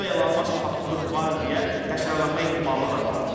Burda Elon Musk faktor var deyə təkrarlanma ehtimalı da vardır.